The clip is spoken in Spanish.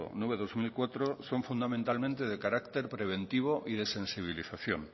nueve barra dos mil cuatro son fundamentalmente de carácter preventivo y de sensibilización